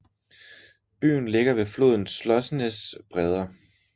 Byen ligger ved floden Slocenes bredder